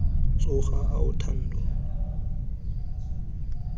tshoga ao thando mme tlhe